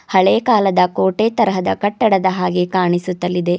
ಹಳೆಯ ಕಾಲದ ಕೋಟೆ ತರಹದ ಕಟ್ಟಡದ ಹಾಗೆ ಕಾಣಿಸುತ್ತಲಿದೆ.